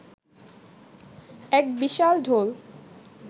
এক বিশাল ঢোল